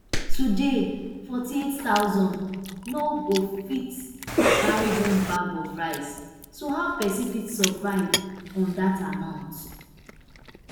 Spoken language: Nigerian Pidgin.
today nforty-eight thousand no go fit buy one bag of rice so how pesin fit survive on dat amount